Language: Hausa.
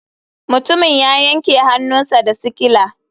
Mutumin ya yanke hannunsa da sikila.